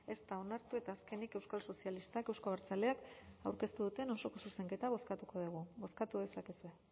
ez da onartu eta azkenik euskal sozialistak euzko abertzaleak aurkeztu duten osoko zuzenketa bozkatuko dugu bozkatu dezakezue